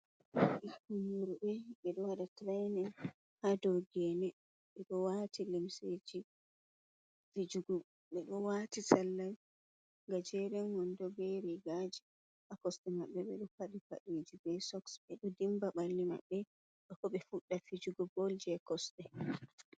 Ɓikkon worɓe" ɓe ɗo waɗa tirenin ha do gene. Ɓeɗo wati limseji fijugo, ɓeɗo wati salla ga jeren wondo be rigaji ha kosɗe maɓɓe, ɓe ɗo faɗi faɗeji be soks, ɓe ɗo dimba ɓalli maɓɓe bako ɓe fuɗɗa fijugo bol je kosɗe.